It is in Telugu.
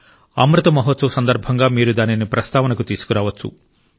అమృత్ మహోత్సవ్ సందర్భంగా మీరు దానిని ప్రస్తావనకు తీసుకురావచ్చు